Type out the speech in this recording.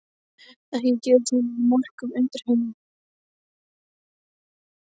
Ekkert gerist nema í morknum undirheimum.